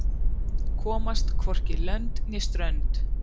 Komast hvorki lönd né strönd